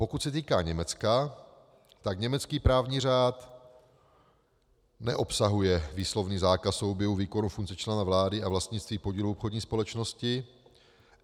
Pokud se týká Německa, tak německý právní řád neobsahuje výslovný zákaz souběhu výkonu funkcí člena vlády a vlastnictví podílů obchodní společnosti.